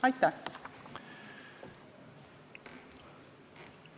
Aitäh!